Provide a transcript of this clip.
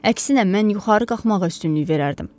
Əksinə mən yuxarı qalxmağa üstünlük verərdim.